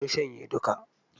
Mun shanye duka.